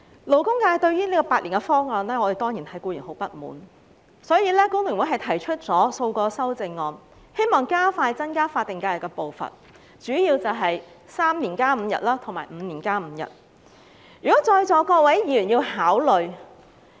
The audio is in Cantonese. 勞工界對於政府提出的8年方案，當然感到很不滿，所以工聯會提出了數項修正案，希望加快增加法定假期的步伐，其中主要包括3年加5日及5年加5日，讓在座各位議員考慮。